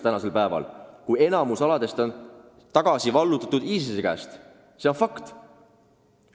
Enamik alasid on ISIS-e käest tagasi vallutatud, see on fakt.